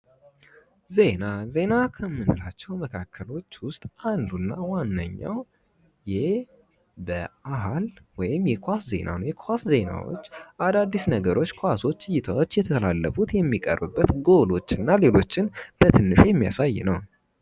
ዜና፤ ዜና ከምንላቸው መካከል ውስጥ አንዱና ዋንኛ የበአል ወይም የኳስ ዜና ነው። የኳስ ዜናዎች አዳዲስ ነገሮች ኳሶች እይታዎች እየተላለፉት የሚቀርብበት ጎሎች እና ሌሎችንም በትንሹ የሚያሳይ ነው።